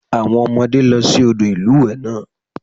Àwọn ọmọdé lọ sí odò ìlúwẹ̀ẹ́ lánàá